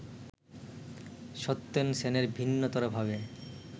সত্যেন সেনের ভিন্নতরভাবে